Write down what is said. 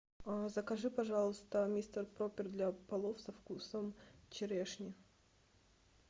закажи пожалуйста мистер пропер для полов со вкусом черешни